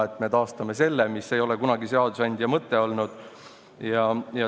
Selline ei ole seadusandja mõte kunagi olnud, nii et me taastame selle toetuse.